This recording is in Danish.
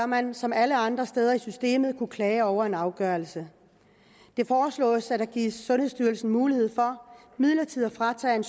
man som alle andre steder i systemet kunne klage over en afgørelse det foreslås at der gives sundhedsstyrelsen mulighed for midlertidigt at fratage en